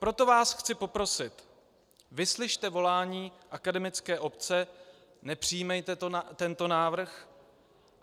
Proto vás chci poprosit, vyslyšte volání akademické obce, nepřijímejte tento návrh.